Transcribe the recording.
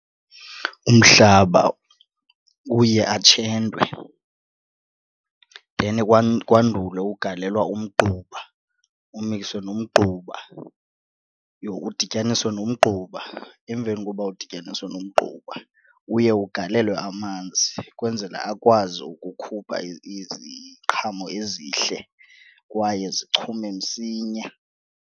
Umhlaba uye atshentwe then kwandulwe ukugalelwa umgquba umikswe nomgquba, uye udityaniswe nomgquba. Emveni koba udityaniswe nomgquba uye ugalelwe amanzi ukwenzela akwazi ukukhupha iziqhamo ezihle kwaye zichume msinya.